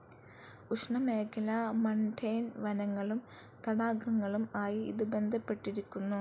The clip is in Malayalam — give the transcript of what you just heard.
ഉഷ്ണമേഖലാ മൺടെയ്ൻ വനങ്ങളും തടാകങ്ങളും ആയി ഇത് ബന്ധപ്പെട്ടിരിക്കുന്നു.